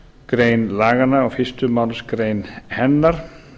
grein laganna og fyrstu málsgrein hennar